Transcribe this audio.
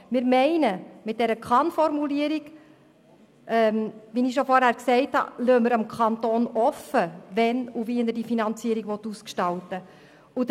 Wir meinen, dass wir mit der Kann-Formulierung, wie ich dies bereits erwähnt habe, dem Kanton offenlassen, wann und wie er die Finanzierung ausgestalten will.